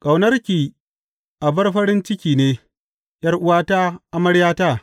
Ƙaunarki abar farin ciki ne, ’yar’uwata, amaryata!